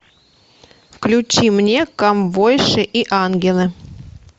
включи мне ковбойши и ангелы